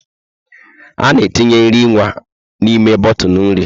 A na-etinye nri nwa n'ime bọtụlụ nri.